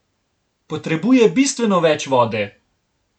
Potrebuje bistveno več vode!